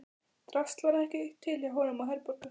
Drasl var ekki til hjá honum og Herborgu.